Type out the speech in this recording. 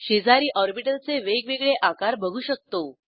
शेजारी ऑर्बिटल चे वेगवेगळे आकार बघू शकतो